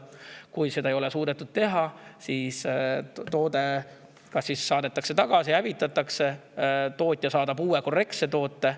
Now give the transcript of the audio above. Kui seda ei ole suudetud teha, siis toode kas saadetakse tagasi või hävitatakse ja tootja saadab uue korrektse toote.